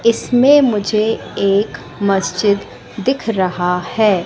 इसमें मुझे एक मस्जिद दिख रहा है।